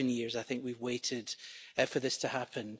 it's 11 years I think that we've waited for this to happen.